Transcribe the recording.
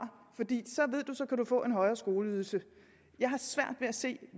for en højere skoleydelse jeg har svært ved at se